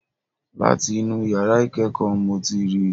Láti inú yàrá ìkẹ́kọ̀ọ́ n mo ti ríi.